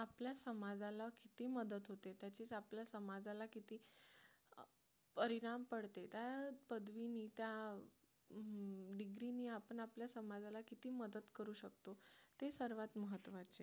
आपल्या समाजाला किती मदत होते त्याचे आपल्या समाजाला किती अं परिणाम पडते त्या पदवीने त्या degree ने आपण आपल्या समाजाला किती मदत करू शकतो हे सर्वात महत्त्वाचे